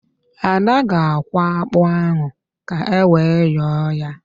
Ada ga-akwọ ákpụ́ ahụ ka ewe yọọ ya